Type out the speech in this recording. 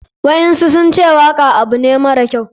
Waɗansu sunce waka abu ne mara kyau.